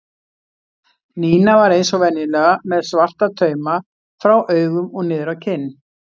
Nína var eins og venjulega með svarta tauma frá augum og niður á kinn.